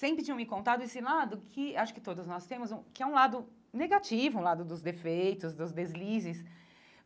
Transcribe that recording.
Sempre tinham me contado esse lado, que acho que todos nós temos, hum que é um lado negativo, um lado dos defeitos, dos deslizes.